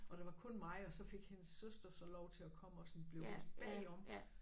Og der var kun mig og så fik hendes søster så lov til at komme og sådan blev vist bagom